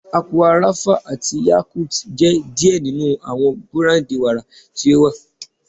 Aqua Rapha ati Yakult jẹ diẹ ninu awọn burandi wara ti o wa